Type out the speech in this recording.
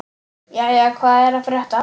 Jæja, hvað er að frétta?